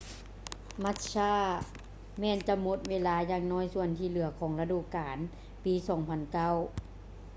massa ແມ່ນຈະໝົດເວລາຢ່າງໜ້ອຍສ່ວນທີ່ເຫຼືອຂອງລະດູການປີ 2009